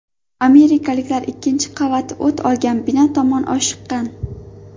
Amerikaliklar ikkinchi qavati o‘t olgan bino tomon oshiqqan.